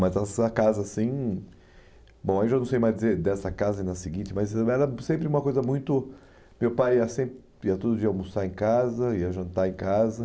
Mas essa casa, assim... Bom, eu já não sei mais dizer dessa casa e na seguinte, mas ainda era sempre uma coisa muito... Meu pai ia sempre ia todo dia almoçar em casa, ia jantar em casa.